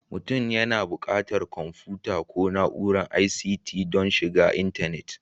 Mutum yana buƙatar kwamfuta ko na'urar ICT don shiga intanet